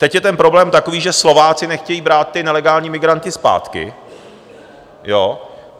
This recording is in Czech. Teď je ten problém takový, že Slováci nechtějí brát ty nelegální migranty zpátky.